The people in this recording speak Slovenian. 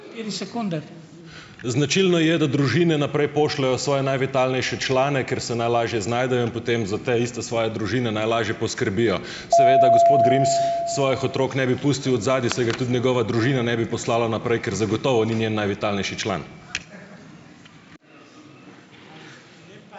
Značilno je, da družine naprej pošljejo svoje najvitalnejše člane, ker se najlažje znajdejo, in potem za te isto svoje družine najlažje poskrbijo. Seveda gospod Grims svojih otrok ne bi pustil odzadaj, saj ga tudi njegova družina ne bi poslala naprej, ker zagotovo ni njen najvitalnejši član.